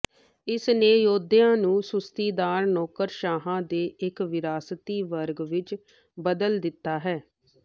ਇਸ ਨੇ ਯੋਧਿਆਂ ਨੂੰ ਸੁਸਤੀਦਾਰ ਨੌਕਰਸ਼ਾਹਾਂ ਦੇ ਇੱਕ ਵਿਰਾਸਤੀ ਵਰਗ ਵਿੱਚ ਬਦਲ ਦਿੱਤਾ